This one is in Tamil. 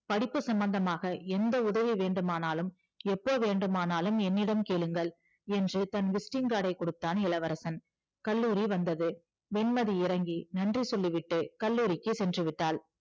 படிப்பு சம்பந்தமாக எந்த உதவி வேண்டுமானாலும் எப்போ வேண்டுமானாலும் என்னிடம் கேளுங்கள் என்று தன் visiting card ஐ கொடுத்தான் இளவரசன் கல்லூரி வந்தது வெண்மதி இறங்கி நன்றி சொல்லிவிட்டு கல்லூரிக்கு சென்று விட்டாள்